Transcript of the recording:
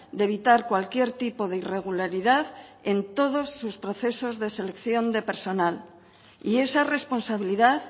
de evitar cualquier tipo de irregularidad en todos sus procesos de selección de personal y esa responsabilidad